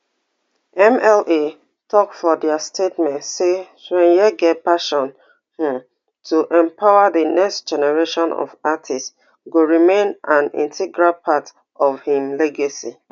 mla tok for dia statement say chweneyagae passion um to empower di next generation of artists go remain an integral part of im legacy